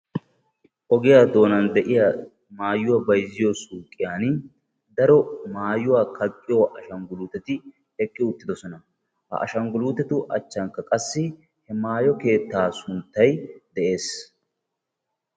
Ogiya doonan de'iya maayuwa bayzziyo suuqiyan daro maayuwaa kaqqiyo ashangguluuteti eqqi uttidosona. Ha ashangguluutetu achchankka qassi maayo keettaa sunttay de'ees.